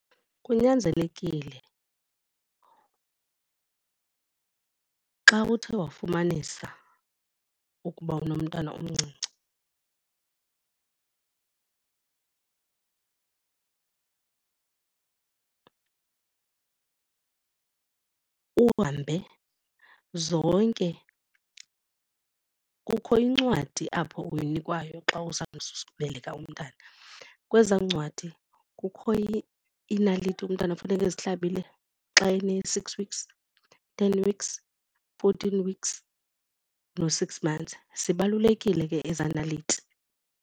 Kunyanzelekile xa uthe wafumanisa ukuba unomntana omncinci uhambe zonke, kukho incwadi apho uyinikwayo xa beleka umntana. Kwezaa ncwadi kukho iinaliti umntana funeka ezihlabile xa ene-six weeks, ten weeks, fourteen weeks no-six months, zibalulekile ke eza naliti.